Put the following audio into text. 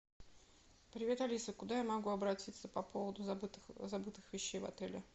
привет алиса куда я могу обратиться по поводу забытых вещей в отеле